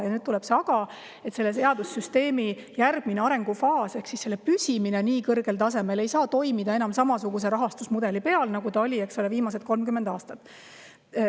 Ja nüüd tuleb aga: selle teadussüsteemi järgmises arengufaasis ei saa see püsida nii kõrgel tasemel enam samasuguse rahastusmudeliga, nagu see oli viimased 30 aastat.